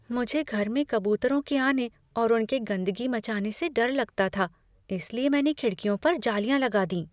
मुझे घर में कबूतरों के आने और उनके गंदगी मचाने से डर लगता था इसलिए मैंने खिड़कियों पर जालियाँ लगा दीं।